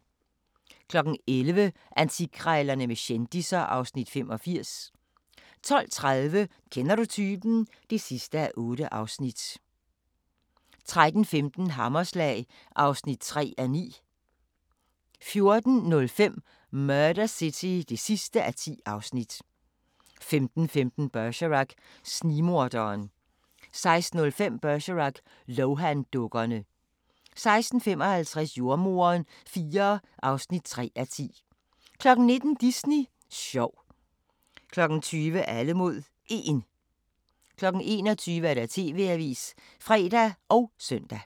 11:00: Antikkrejlerne med kendisser (Afs. 85) 12:30: Kender du typen? (8:8) 13:15: Hammerslag (3:9) 14:05: Murder City (10:10) 15:15: Bergerac: Snigmorderen 16:05: Bergerac: Lohan-dukkerne 16:55: Jordemoderen IV (3:10) 19:00: Disney sjov 20:00: Alle mod 1 21:00: TV-avisen (fre og søn)